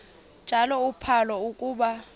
njalo uphalo akuba